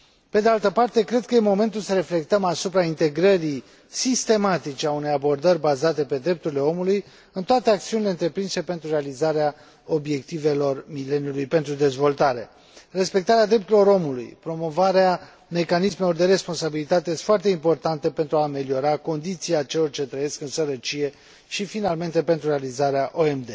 Pe de altă parte, cred că este momentul să reflectăm asupra integrării sistematice a unei abordări bazate pe drepturile omului în toate acțiunile întreprinse pentru realizarea Obiectivelor de dezvoltare ale mileniului. Respectarea drepturilor omului, promovarea mecanismelor de responsabilitate sunt foarte importante pentru a ameliora condiția celor ce trăiesc în sărăcie și finalmente pentru realizarea ODM.